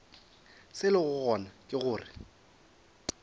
se lego gona ke gore